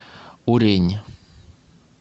урень